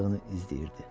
olduğunu izləyirdi.